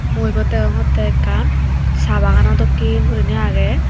mui ibot degongotte ekkan saa bagano dokki guriney aage.